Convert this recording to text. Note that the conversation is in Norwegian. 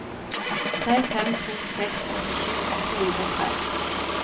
tre fem to seks åttisju åtte hundre og tre